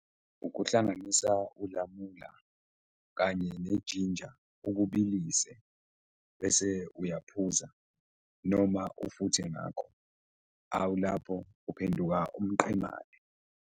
Ukuhlanganisa ulamula kanye nejinja ukubilise bese uyaphuza noma ufuthe ngakho awu, lapho uphenduka umqemane.